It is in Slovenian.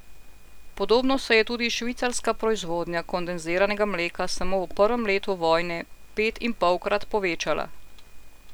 Podobno se je tudi švicarska proizvodnja kondenziranega mleka samo v prvem letu vojne petinpolkrat povečala!